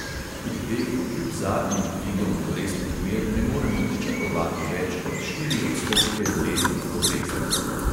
Pri teh kljub zadnjim dvigom obrestnih mer ne moremo pričakovati več kot štiri odstotke letnih obresti.